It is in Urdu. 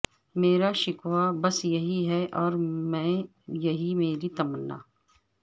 میرا شکوہ بس یہی ہے اور یہی میری تمنا